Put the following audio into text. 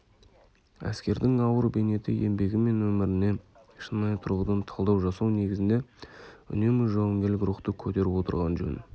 әскердің ауыр бейнеті еңбегі мен өміріне шынайы тұрғыдан талдау жасау негізінде үнемі жауынгерлік рухты көтеріп отырған жөн